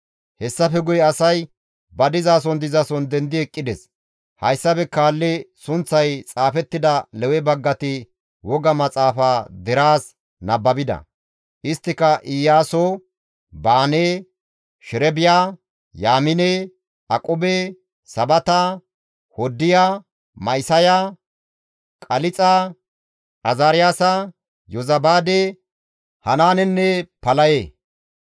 Hessafe guye asay ba dizason dizason dendi eqqides; hayssafe kaalli sunththay xaafettida Lewe baggati woga maxaafa deraas nababida; isttika Iyaaso, Baane, Sherebiya, Yaamine, Aqube, Sabata, Hoddiya, Ma7isaya, Qalixa, Azaariyaasa, Yozabaade, Hanaanenne Palaye.